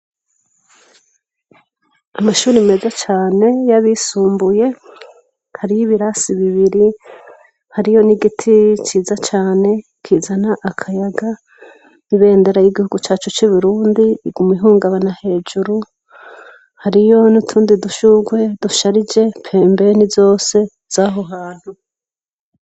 Amashuri meze cane y'abisumbuye hariyo ibirasi bibiri hari yo n'igiti ciza cane kizana akayaga ibendera y'igihugu cacu c'ibirundi iguma ihungabana hejuru hariyo ni utundi dushurwe dusharije pembene ni zose zaho hantu.